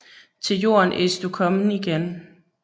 Til jorden est du kommen igen